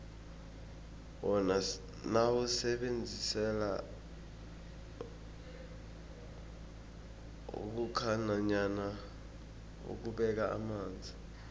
wona siwusebenzisela ukhukha nanyana ukubeka amanzi